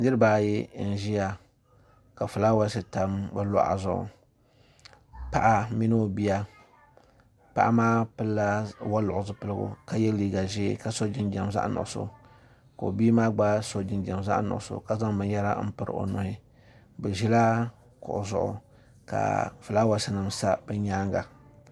Niriba ayi n-ʒiya ka fulaawasi tam bɛ luɣa zuɣu paɣa mini o bia paɣa maa pili la waliɣu zupiligu ka ye liiga ʒee ka sɔ jinjam zaɣ' nuɣisɔ ka o bia maa gba sɔ jinjam zaɣ' nuɣisɔ ka zaŋ binyɛra m-piri o nuhi bɛ ʒila kuɣu zuɣu ka fulaawasi nima sa bɛ nyaaga.